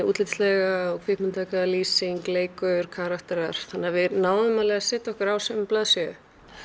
útlitslega lýsing leikur og karakterar þannig að við náðum alveg að setja okkur á sömu blaðsíðu